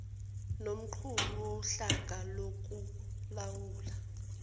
nomqhubi wohlaka lokulawula